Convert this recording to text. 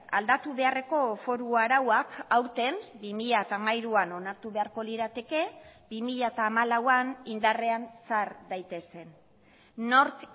aldatu beharreko foru arauak aurten bi mila hamairuan onartu beharko lirateke bi mila hamalauan indarrean sar daitezen nork